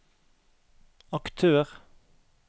aktør